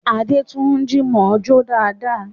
Adétúnjí mọ̀ọ́ jó dáadáa